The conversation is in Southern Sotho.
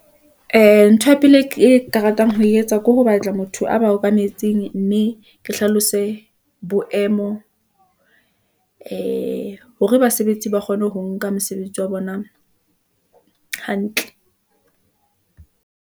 Ee, ntho ya pele ke ka ratang ho e etsa, ke ho batla motho a ba okametseng , mme ke hlalose boemo , ee hore basebetsi ba kgone ho nka mosebetsi wa bona hantle.